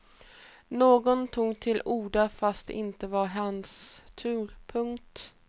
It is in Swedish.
Någon tog till orda fast det inte var hans tur. punkt